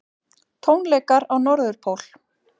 Tónleikar á Norðurpól